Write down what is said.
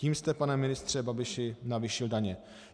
Tím jste, pane ministře Babiši, navýšil daně.